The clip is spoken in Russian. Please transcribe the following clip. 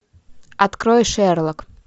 открой шерлок